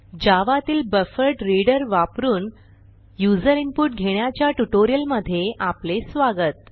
जावा तील बफरड्रीडर वापरून user input घेण्याच्या ट्युटोरियलमधे स्वागत